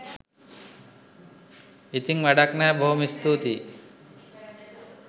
ඉතින් වැඩක් නැහැ බොහොම ස්තුතියි